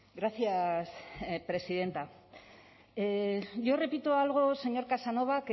gracias presidenta yo repito algo señor casanova